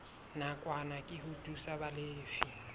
nakwana ke ho thusa balefi